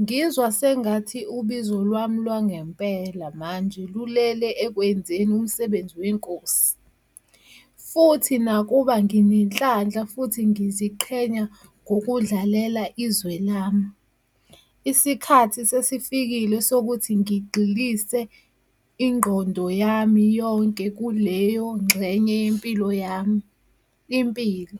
"Ngizwa sengathi ubizo lwami lwangempela manje lulele ekwenzeni umsebenzi weNkosi, futhi nakuba nginenhlanhla futhi ngiziqhenya ngokudlalela izwe lami, isikhathi sesifikile sokuthi ngigxilise ingqondo yami yonke kuleyo ngxenye yempilo yami. impilo."